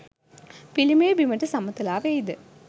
පිළිමය බිමට සමතලා වෙයිද?